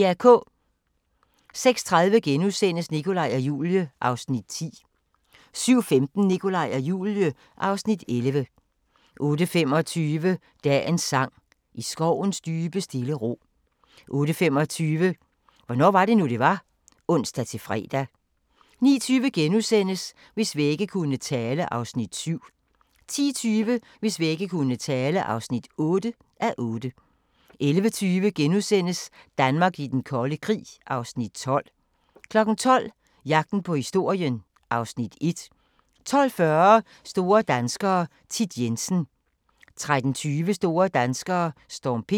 06:30: Nikolaj og Julie (Afs. 10)* 07:15: Nikolaj og Julie (Afs. 11) 08:25: Dagens sang: I skovens dybe stille ro 08:35: Hvornår var det nu, det var? (ons-fre) 09:20: Hvis vægge kunne tale (7:8)* 10:20: Hvis vægge kunne tale (8:8) 11:20: Danmark i den kolde krig (Afs. 12)* 12:00: Jagten på historien (Afs. 1) 12:40: Store danskere - Thit Jensen 13:20: Store danskere: Storm P